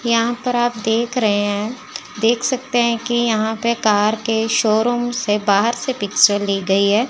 यहां पर आप देख रहे हैं देख सकते हैं कि यहां पे कार के शोरूम से बाहर से पिक्चर ली गई है।